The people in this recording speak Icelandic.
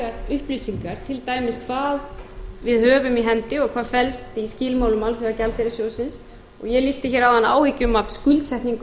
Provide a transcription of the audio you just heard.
nægar upplýsingar til dæmis hvað við höfum í hendi og hvað felst í skilmálum alþjóðagjaldeyrissjóðsins ég lýsti hér áðan áhyggjum af skuldsetningu